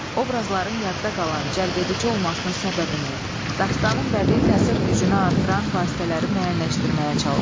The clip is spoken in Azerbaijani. obrazların yadda qalan, cəlbedici olmasının səbəbini, dastaının bədii təsir gücünü artıran vasitələri müəyyənləşdirməyə çalışın.